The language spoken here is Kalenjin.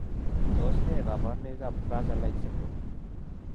Tos nee koborunoikab Fraser like syndrome?